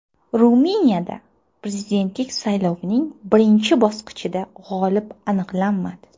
Ruminiyada prezidentlik saylovining birinchi bosqichida g‘olib aniqlanmadi.